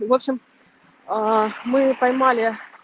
в общем аа мы поймали